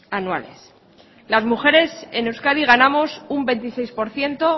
anuales las mujeres en euskadi ganamos un veintiséis por ciento